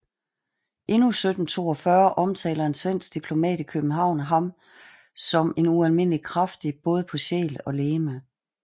Endnu 1742 omtaler en svensk diplomat i København ham som ualmindelig kraftig både på sjæl og legeme